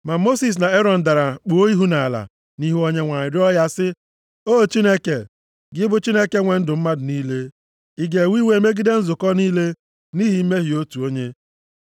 Ma Mosis na Erọn dara kpuo ihu nʼala nʼihu Onyenwe anyị rịọọ ya sị, “O Chineke, gị bụ Chineke nwe ndụ mmadụ niile, ị ga-ewe iwe megide nzukọ niile nʼihi mmehie otu onye?”